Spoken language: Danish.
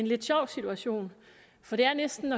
lidt sjov situation for det er næsten